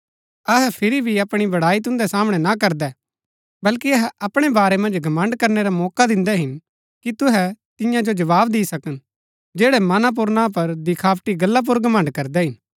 अहै फिरी भी अपणी बड़ाई तुन्दै सामणै ना करदै बल्कि अहै अपणै बारै मन्ज घमण्ड़ करनै रा मौका दिन्दै हिन कि तुहै तियां जो जवाव दि सकन जैड़ै मना पुर ना पर दिखावटी गल्ला पुर घमण्ड़ करदै हिन